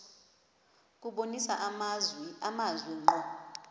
kubonisa amazwi ngqo